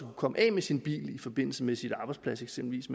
komme af med sin bil i forbindelse med sin arbejdsplads eksempelvis